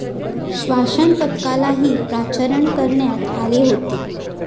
श्वानपथकालाही पाचारण करण्यात आले होते.